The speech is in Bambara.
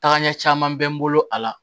Tagaɲɛ caman bɛ n bolo a la